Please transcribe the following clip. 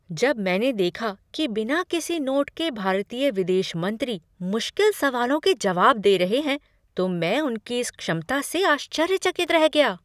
जब मैंने देखा कि बिना किसी नोट के भारतीय विदेश मंत्री मुश्किल सवालों के जवाब दे रहे हैं तो मैं उनकी इस क्षमता से आश्चर्यचकित रह गया!